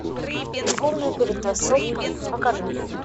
любовная перетасовка покажи